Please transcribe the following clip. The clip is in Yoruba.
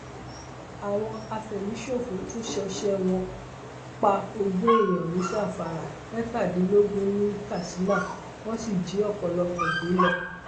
àwọn àfẹmíṣòfò tún ṣọṣẹ wọn pa ogún èèyàn ní zamfara mẹtàdínlógún ní katsina wọn sì jí ọpọlọpọ gbé lọ